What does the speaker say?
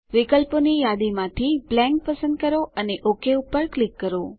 વિકલ્પોની યાદીમાંથી બ્લેન્ક પસંદ કરો અને ઓક પર ક્લિક કરો